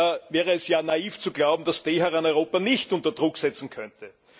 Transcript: Es wäre naiv zu glauben, dass Teheran Europa nicht unter Druck setzen könnte.